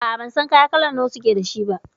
A'a, ban san kaya kala nawa suke da shi ba.